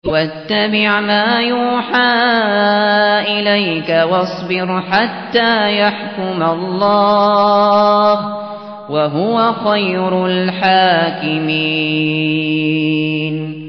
وَاتَّبِعْ مَا يُوحَىٰ إِلَيْكَ وَاصْبِرْ حَتَّىٰ يَحْكُمَ اللَّهُ ۚ وَهُوَ خَيْرُ الْحَاكِمِينَ